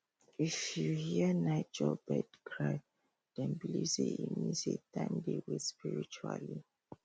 if you hear nightjar bird cry dem believe say e mean say time dey waste spiritually